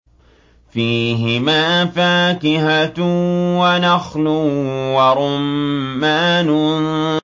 فِيهِمَا فَاكِهَةٌ وَنَخْلٌ وَرُمَّانٌ